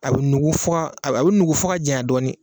A bɛ nugu f'a , a bɛ nugu fo ka janya dɔɔni.